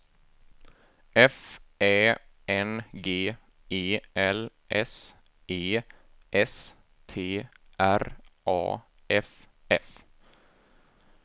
F Ä N G E L S E S T R A F F